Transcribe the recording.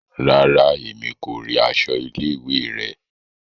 Ràrá, Èmí ko ríi aṣọ ilé-ìwé rẹ